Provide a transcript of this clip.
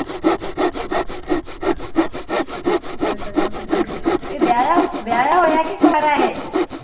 ਏਹ ਵਿਆਹਾਂ ਹੋਏਆ ਕਿ ਕਵਾਰਾ ਏਹ?